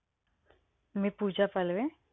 मी Pooja Palve.